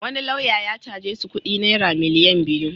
Wani lauya ya caje su kudi naira miliyan biyu.